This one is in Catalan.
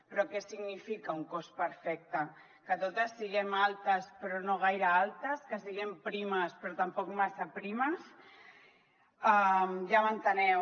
però què significa un cos perfecte que totes siguem altes però no gaire altes que siguem primes però tampoc massa primes ja m’enteneu